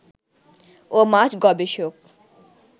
ও মাছ গবেষক